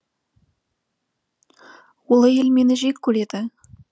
ол әйел мені жек көреді